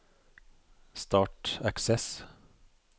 Start Access